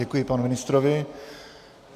Děkuji panu ministrovi.